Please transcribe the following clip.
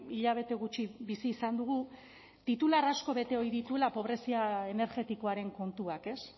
hilabete gutxi bizi izan dugu titular asko bete ohi dituela pobrezia energetikoaren kontuak ez